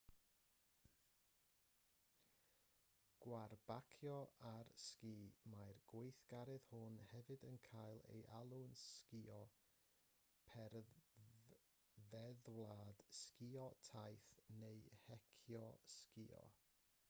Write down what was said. gwarbacio ar sgi mae'r gweithgaredd hwn hefyd yn cael ei alw'n sgïo perfeddwlad sgïo taith neu heicio sgïo